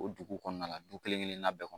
O dugu kɔnɔna la du kelen kelen na bɛɛ kɔnɔ